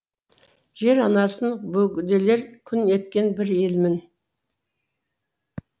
жер анасын бөгделер күң еткен бір елмін